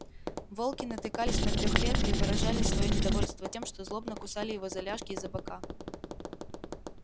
волки натыкались на трёхлетка и выражали своё недовольство тем что злобно кусали его за ляжки и за бока